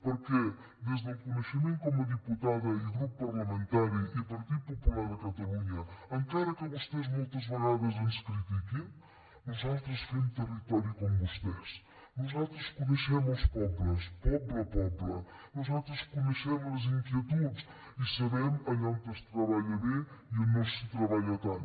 perquè des del coneixement com a diputada i grup parlamentari i partit popular de catalunya encara que vostès moltes vegades ens critiquin nosaltres fem territori com vostès nosaltres coneixem els pobles poble a poble nosaltres coneixem les inquietuds i sabem allà on es treballa bé i on no s’hi treballa tant